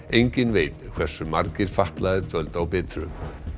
enginn veit hversu margir fatlaðir dvöldu á Bitru